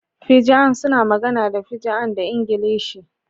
Fijian suna magana da Fijian da Ingilishi.